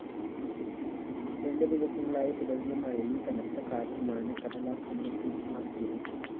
രണ്ട് ദിവസങ്ങളായി തുടരുന്ന മഴയും കനത്തകാറ്റുമാണ് കടലാക്രമണം രൂക്ഷമാക്കിയത്